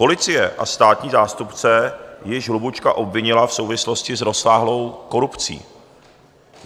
Policie a státní zástupce již Hlubučka obvinili v souvislosti s rozsáhlou korupcí.